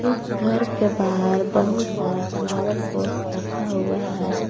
इस घर के बाहर बहुत सारा फ्लावर पॉट रखा हुआ है।